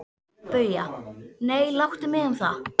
BAUJA: Nei, láttu mig um það.